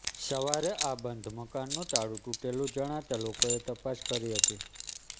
સવારે આ બંધ મકાનનુ તાળુ તૂટેલુ જણાતાં લોકોએ તપાસ કરી હતી